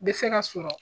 Bɛ se ka sɔrɔ